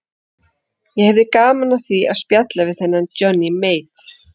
Ég hefði gaman af því að spjalla við þennan Johnny Mate.